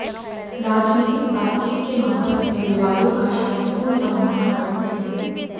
राजनीतिक बातचीत के माध्यम से विवादों का शांतिपूर्ण समाधान करते हैं